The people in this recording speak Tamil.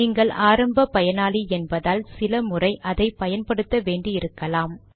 நீங்கள் ஆரம்ப பயனாளி என்பதால் சில முறை அதை பயன்படுத்த வேண்டியிருக்கலாம்